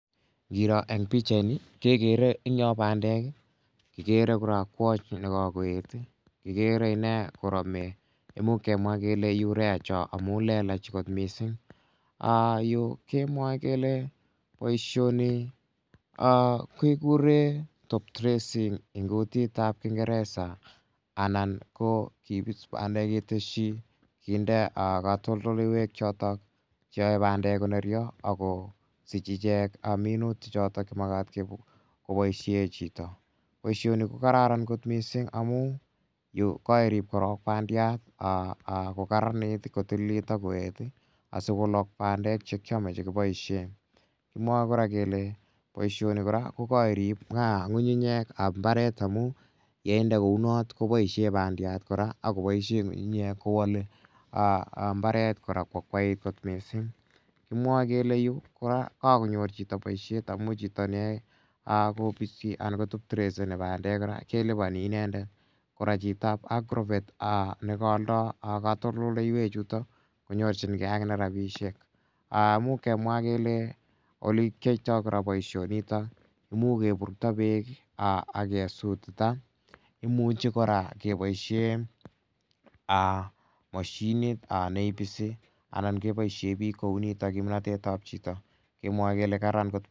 Ngiro eng' pichaini, kekere eng' yo pandek i, kikere kora kwony ne ka koet i, kikere ine korame, imuch kemwa kele urea cho amu lelach kot missing'. Yu kemwae kele poishoni kekure top dressing eng' kutit ap kingeresa anan ko kipis anan keteschi kinde katoltoloiwek chotok che yae pandek ko nerya ak kosich ichek minutik chotok che makat kopoishe chito. Poishoni ko kararan missing' amu yu ko kairip korok pandiat i, ko kararanit i, ko tililit ak koet asikolak pandek che kiame che kipoishe. Kimwae kole poishoni kora ko kairip ng'ung'unyek ap mbaret amu ye inde kou not kopoishe pandiat kora ak kopoishe ng'ung'unyek ko wale mbaret kora ko akwait missing'. Kimwae kele yu kora kakonyor chito poishet amu chito ne yae kopisi anan ko top dresseni pandek kora kelipani inendet. Kora chitap agrovet ne kaaldai katoltoloiwechutok ko nyorchingei akine rapishek. Imuch kemwa kele ole kiyaitai kora poishonitok imuch kepurukta peek i ak kesutita. Imcuhi kora kepoishe mashinit ne ipisi anan kepoishe piik kou nitok, kimnatet ap chito. Kemwae kele kararan kot.